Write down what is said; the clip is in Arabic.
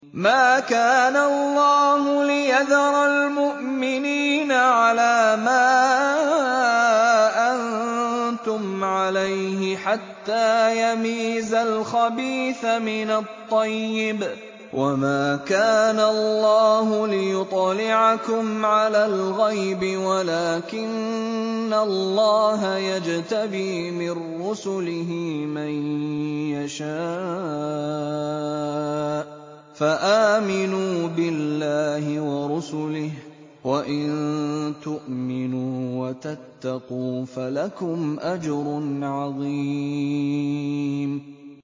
مَّا كَانَ اللَّهُ لِيَذَرَ الْمُؤْمِنِينَ عَلَىٰ مَا أَنتُمْ عَلَيْهِ حَتَّىٰ يَمِيزَ الْخَبِيثَ مِنَ الطَّيِّبِ ۗ وَمَا كَانَ اللَّهُ لِيُطْلِعَكُمْ عَلَى الْغَيْبِ وَلَٰكِنَّ اللَّهَ يَجْتَبِي مِن رُّسُلِهِ مَن يَشَاءُ ۖ فَآمِنُوا بِاللَّهِ وَرُسُلِهِ ۚ وَإِن تُؤْمِنُوا وَتَتَّقُوا فَلَكُمْ أَجْرٌ عَظِيمٌ